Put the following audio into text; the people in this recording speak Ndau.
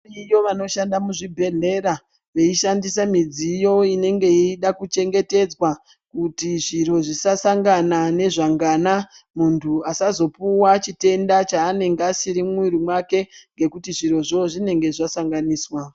Variyo vanoshanda muzvibhedhlera, veishandise midziyo inenge yeida kuchengetedzwa kuti zviro zvisasangana nezvangana, muntu asazopuwa chitenda chaanenge asina mumwiri mwake ngekuti zvirozvo zvinonga zvasanganiswa.